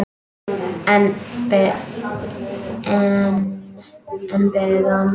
En enn beið hann.